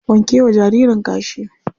Wanke wa jaririn kashi.